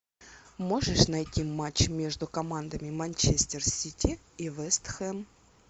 можешь найти матч между командами манчестер сити и вест хэм